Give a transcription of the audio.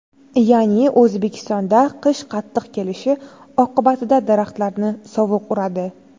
Ya’ni O‘zbekistonda qish qattiq kelishi oqibatida daraxtlarni sovuq uradi.